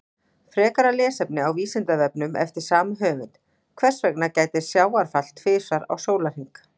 Frekara lesefni á Vísindavefnum eftir sama höfund: Hvers vegna gætir sjávarfalla tvisvar á sólarhring?